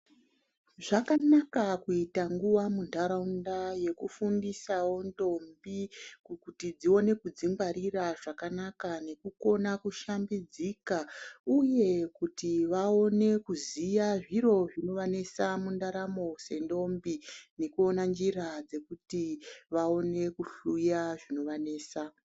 Zvakanaka kuita nguva muntaraunda yekufundisawo ndombi kuti dzione kudzingwarira zvakanaka nekukona kushambidzika. Uye kuti vaone kuziya zviro zvinovanesa mundaramo sendombi nekuina njira dzekuti vaone kuhluya zvinovanesa.